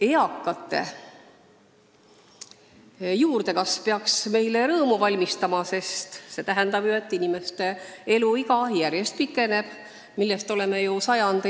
Eakate inimeste arvu kasv peaks meile rõõmu valmistama, sest see tähendab, et inimeste eluiga järjest pikeneb, millest on sajandeid unistatud.